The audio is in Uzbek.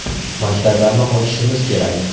Maktablarni ochishimiz kerak.